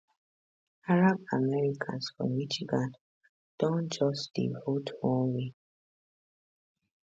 arab americans for michigan don just dey vote one way